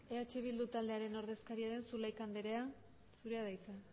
eh bildu taldearen ordezkaria den zulaika andrea zurea da hitza